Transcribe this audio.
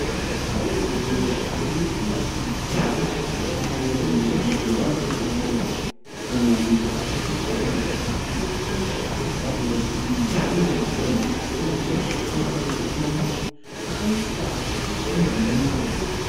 Pane wadhiropu iri kuratidza mumwe munhu mugirazi mayo. Munhu uyu akapfeka hembe tsvuku. Wadhiropu iyi ine magonhi akawanda kusanganisira mamwe akaiswa svumbunuro.